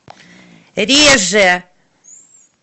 реже